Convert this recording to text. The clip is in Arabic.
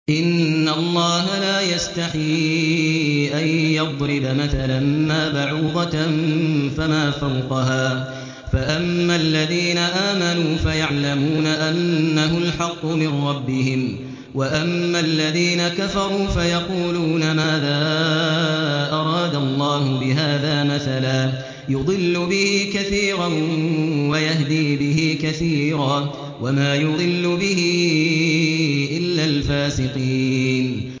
۞ إِنَّ اللَّهَ لَا يَسْتَحْيِي أَن يَضْرِبَ مَثَلًا مَّا بَعُوضَةً فَمَا فَوْقَهَا ۚ فَأَمَّا الَّذِينَ آمَنُوا فَيَعْلَمُونَ أَنَّهُ الْحَقُّ مِن رَّبِّهِمْ ۖ وَأَمَّا الَّذِينَ كَفَرُوا فَيَقُولُونَ مَاذَا أَرَادَ اللَّهُ بِهَٰذَا مَثَلًا ۘ يُضِلُّ بِهِ كَثِيرًا وَيَهْدِي بِهِ كَثِيرًا ۚ وَمَا يُضِلُّ بِهِ إِلَّا الْفَاسِقِينَ